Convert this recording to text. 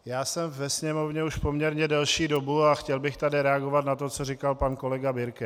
Já jsem ve Sněmovně už poměrně delší dobu a chtěl bych tady reagovat na to, co říkal pan kolega Birke.